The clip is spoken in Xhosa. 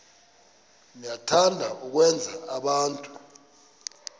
niyathanda ukwenza abantu